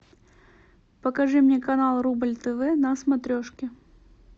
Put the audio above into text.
покажи мне канал рубль тв на смотрешке